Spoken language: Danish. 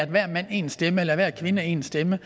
hver mand én stemme eller hver kvinde én stemme